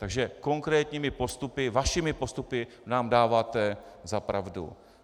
Takže konkrétními postupy, vašimi postupy, nám dáváte za pravdu.